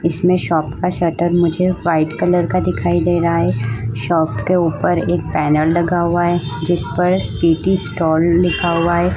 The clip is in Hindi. इसमें शॉप का शटर मुझे वाइट कलर का दिखाई दे रहा हे । शॉप के ऊपर एक पैनर लगा हुआ है जिस पर सिटी स्टोर लिखा हुआ है।